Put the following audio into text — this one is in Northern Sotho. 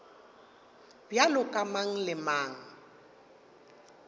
bjalo ka mang le mang